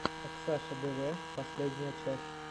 оксаша дв последняя часть